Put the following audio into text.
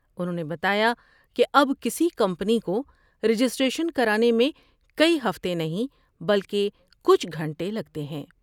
انہوں نے بتایا کہ اب کسی کمپنی کو رجسٹریشن کرانے میں کئی ہفتے نہیں بلکہ کچھ گھنٹے لگتے ہیں ۔